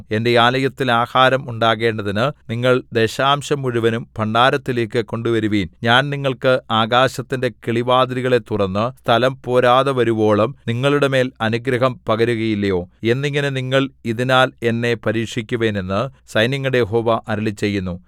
എന്റെ ആലയത്തിൽ ആഹാരം ഉണ്ടാകേണ്ടതിന് നിങ്ങൾ ദശാംശം മുഴുവനും ഭണ്ഡാരത്തിലേക്കു കൊണ്ടുവരുവിൻ ഞാൻ നിങ്ങൾക്ക് ആകാശത്തിന്റെ കിളിവാതിലുകളെ തുറന്നു സ്ഥലം പോരാതെവരുവോളം നിങ്ങളുടെമേൽ അനുഗ്രഹം പകരുകയില്ലയോ എന്നിങ്ങനെ നിങ്ങൾ ഇതിനാൽ എന്നെ പരീക്ഷിക്കുവിൻ എന്നു സൈന്യങ്ങളുടെ യഹോവ അരുളിച്ചെയ്യുന്നു